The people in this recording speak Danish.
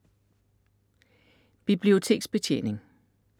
Biblioteksbetjening